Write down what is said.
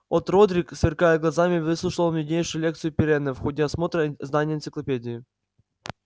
от родрик сверкая глазами выслушивал нуднейшую лекцию пиренна в ходе осмотра здания энциклопедии